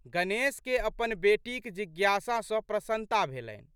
गणेशकेँ अपन बेटीक जिज्ञासा सँ प्रशन्नता भेलनि।